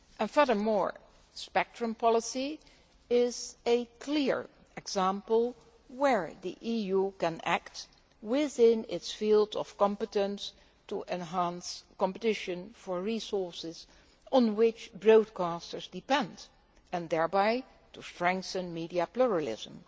Furthermore, spectrum policy is a clear example where the EU can act within its field of competence to enhance competition for the resources on which broadcasters depend, and thereby to strengthen media pluralism.